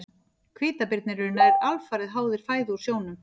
Hvítabirnir eru nær alfarið háðir fæðu úr sjónum.